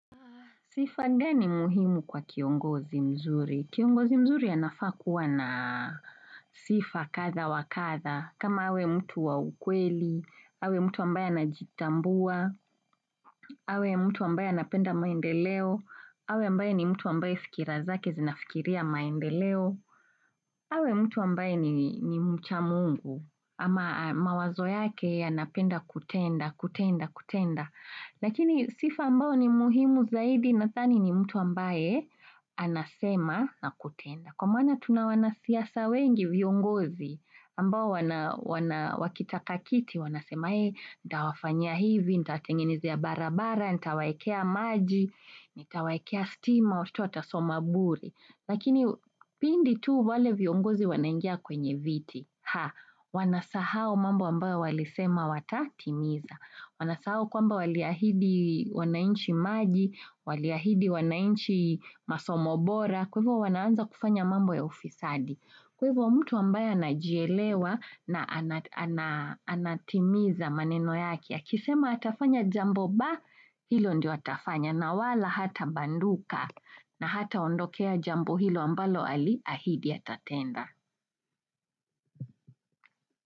Sifa gani muhimu kwa kiongozi mzuri? Kiongozi mzuri anafaa kuwa na sifa katha wa katha. Kama awe mtu wa ukweli, awe mtu ambaye anajitambua, awe mtu ambaye anapenda maendeleo, awe mtu ambaye ni mtu ambaye fikira zake zinafikiria maendeleo, awe mtu ambaye ni mcha mungu ama mawazo yake anapenda kutenda, kutenda, kutenda. Lakini sifa ambao ni muhimu zaidi nathani ni mtu ambaye anasema na kutenda. Kwa maana tuna wanasiasa wengi viongozi ambao wakitaka kiti wanasema hee, ndawafanyia hivi, nitawatengenezea barabara, ntawaekea maji, nitawaekea stima, watoto watasoma bure Lakini pindi tu wale viongozi wanaingia kwenye viti Ha, wanasahau mambo ambayo walisema watatimiza. Wanasahau kwamba waliahidi wanainchi maji, waliahidi wanainchi masomo bora, kwa ivo wanaanza kufanya mambo ya ufisadi. Kwa ivo mtu ambaye anajielewa na anatimiza maneno yake Akisema atafanya jambo ba, hilo ndio atafanya. Na wala hatabanduka na hataondokea jambo hilo ambalo aliahidi atatenda.